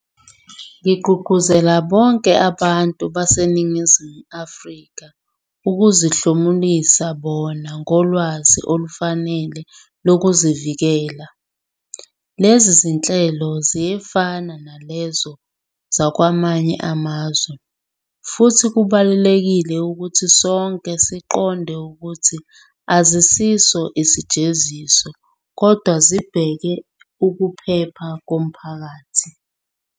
Ngigqugquzela bonke abantu baseNingizimu Afrika ukuzihlomulisa bona ngolwazi olufanele lokuzivikela. Lezi zinhlelo ziyafana nalezo zakwamanye amazwe, futhi kubalulekile ukuthi sonke siqonde ukuthi azisiso isijeziso kodwa zibhekele ukuphepha komphakathi.